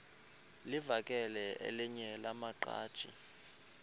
livakele elinye lamaqhaji